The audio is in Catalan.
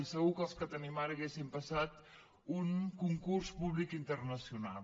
i segur que els que tenim ara haurien passat un concurs públic internacional